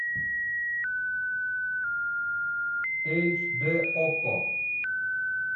эйч д окко